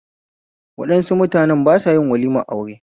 Waɗansu mutane ba sayin walimar aure